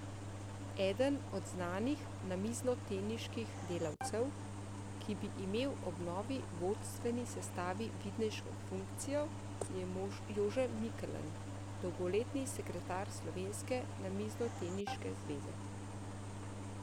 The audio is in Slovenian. Eden od znanih namiznoteniških delavcev, ki bi imel ob novi vodstveni sestavi vidnejšo funkcijo, je Jože Mikeln, dolgoletni sekretar slovenske namiznoteniške zveze.